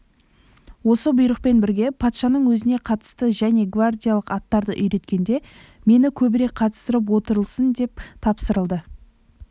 осы бұйрықпен бірге патшаның өзіне қарасты және гвардиялық аттарды үйреткенде мені көбірек қатыстырып отырылсын деп тапсырылды